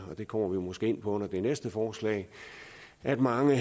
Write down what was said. og det kommer vi måske ind på under det næste forslag at mange